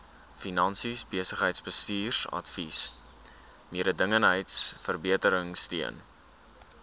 finansies besigheidsbestuursadvies mededingendheidsverbeteringsteun